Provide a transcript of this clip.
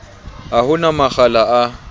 ha ho na makgala a